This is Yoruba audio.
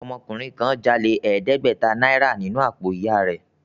Ọmọkùnrin kan jáde ọ̀ọ́dẹ́gbẹ̀tà náírà nínú àpò ìyà rẹ̀